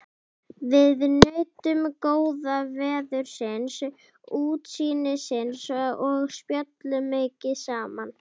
Við nutum góða veðursins, útsýnisins og spjölluðum mikið saman.